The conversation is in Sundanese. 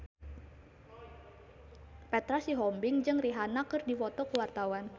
Petra Sihombing jeung Rihanna keur dipoto ku wartawan